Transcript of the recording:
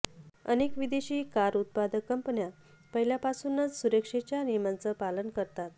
अनेक विदेशी कार उत्पादक कंपन्या पहिल्यांपासूनच सुरक्षेच्या नियमांचे पालन करतात